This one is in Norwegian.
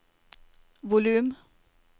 volum